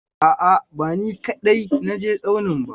A'a, ba ni kaɗai na je tsaunin ba.